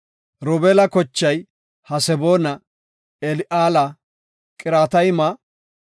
Robeela, kochay Haseboona, Eli7aala, Qiratayma,